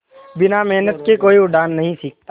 बिना मेहनत के कोई उड़ना नहीं सीखता